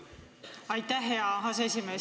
Aitäh, hea aseesimees!